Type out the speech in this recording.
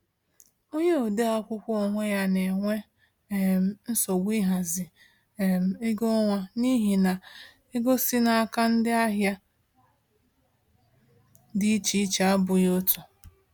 Onye ode akwụkwọ onwe ya na-enwe um nsogbu ịhazi um ego ọnwa n’ihi na ego si n’aka ndị ahịa dị iche iche abụghị otu.